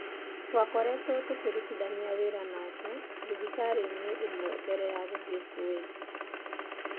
Twakoretwo tũkĩrutithania wĩra nake thibitarĩ-inĩ ĩmwe mbere ya gũthiĩ Kuwait.